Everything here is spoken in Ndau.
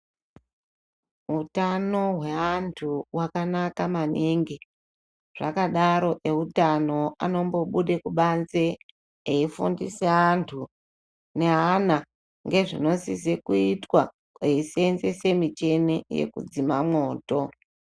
Utano wevantu wakanaka maningi zvakadaro eutano anombo bude kubanze eifundise vantu ngeana ngezvibosise kuitwa eiseenzese mishini ekudzima mwoto.